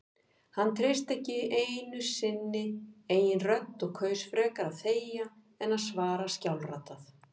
Hann treysti ekki sinni eigin rödd og kaus frekar að þegja en að svara skjálfraddað.